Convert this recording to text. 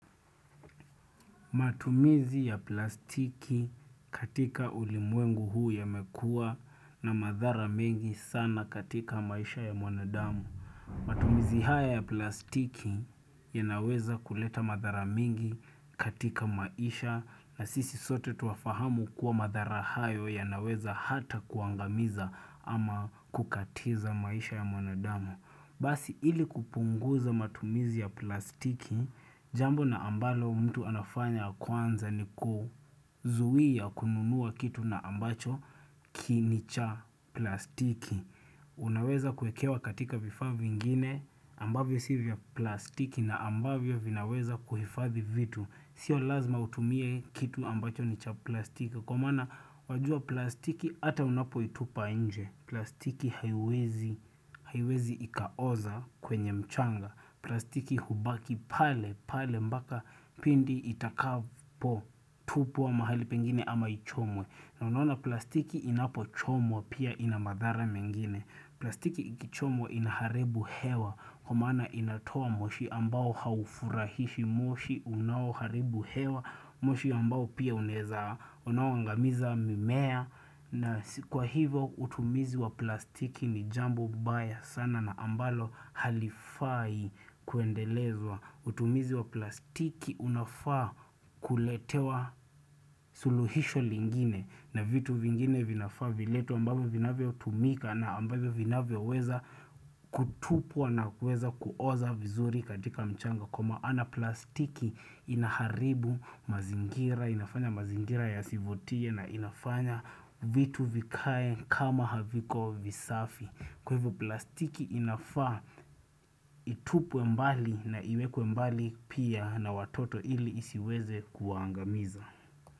Matumizi ya plastiki katika ulimwengu huu ya mekua na madhara mingi sana katika maisha ya mwanadamu. Matumizi haya ya plastiki ya naweza kuleta madhara mingi katika maisha na sisi sote tuafahamu kuwa madhara hayo ya naweza hata kuangamiza ama kukatiza maisha ya mwanadamu. Basi ili kupunguza matumizi ya plastiki, jambo na ambalo mtu anafanya kwanza ni kuzuia kununua kitu na ambacho kinicha plastiki. Unaweza kuekewa katika vifaa viingine ambavyo sivya plastiki na ambavyo vinaweza kuhifavi vitu. Sio lazima utumie kitu ambacho nicha plastiki. Kwa maana wajua plastiki ata unapo itupa inje, plastiki haiwezi ikaoza kwenye mchanga, plastiki hubaki pale, pale mbaka pindi itakapo, tupwa mahali pengine ama ichomwe. Na unaona plastiki inapo chomwa pia ina madhara mengine plastiki ikichomwa inaharibu hewa Kwamaana inatoa moshi ambao haufurahishi moshi unawo haribu hewa moshi ambao pia uneza unawangamiza mimea na kwa hivo utumizi wa plastiki ni jambo baya sana na ambalo halifai kuendelezwa Utumizi wa plastiki unafaa kuletewa suluhisho lingine na vitu vingine vinafaa viletwe ambavyo vinafya utumika na ambavyo vinafya weza kutupua na weza kuoza vizuri katika mchanga. Kwa maana plastiki inaharibu mazingira, inafanya mazingira yasivutie na inafanya vitu vikae kama haviko visafi. Kwa hivyo plastiki inafaa, itupwe mbali na iwekwe mbali pia na watoto ili isiweze kuangamiza.